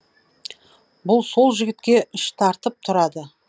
бұл сол жігітке іш тартып тұрады